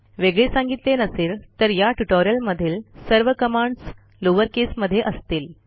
वेगळे सांगितले नसेल तर या ट्युटोरियल मधील सर्व कमांडस लोअर केसमध्ये असतील